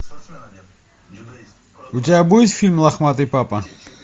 у тебя будет фильм лохматый папа